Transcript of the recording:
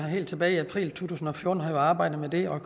helt tilbage i april to tusind og fjorten arbejdet med det og